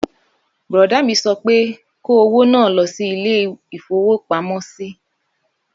Bùrọ̀dá mi sọ pé kó owó náà lọ sí ilé-ìfowópamọ́sí!